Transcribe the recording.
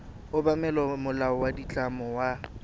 obamela molao wa ditlamo wa